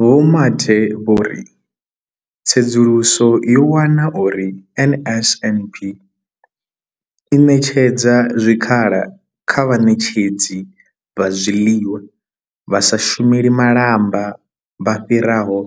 Vho Mathe vho ri tsedzuluso yo wana uri NSNP i ṋetshedza zwikhala kha vhaṋetshedzi vha zwiḽiwa vha sa shumeli malamba vha fhiraho